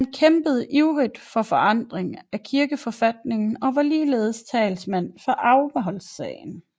Han kæmpede ivrig for forandring af kirkeforfatningen og var ligeledes talsmand for afholdssagen